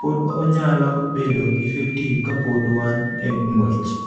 pod onyalo bedo effective kapod wan e ng'wech.